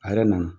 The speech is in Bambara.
A yɛrɛ nana